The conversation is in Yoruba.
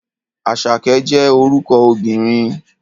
Àṣàkẹ́ jẹ́ orúkọ obìnrin.